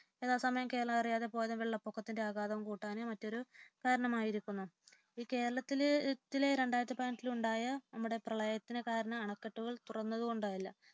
ചില സമയം കേരളം അറിയാതെപോലും വെള്ളപൊക്കത്തിന്റെ ആഘാതം കൂട്ടാനും മറ്റൊരു കരണമായിരിക്കുന്നു കേരളത്തിൽ രണ്ടായിരത്തിപതിനെട്ടിലുണ്ടായ നമ്മുടെ പ്രളയത്തിനു കാരണം അണക്കെട്ടുകൾ തുറന്നതുകൊണ്ടല്ല